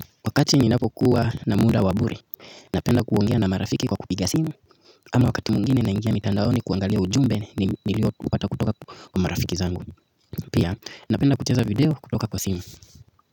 Wakati ninapokuwa na muda wa bure, napenda kuongea na marafiki kwa kupiga simu ama wakati mwingine naingia mitandaoni kuangalia ujumbe nilio upata kutoka kwa marafiki zangu pia, napenda kucheza video kutoka kwa simu.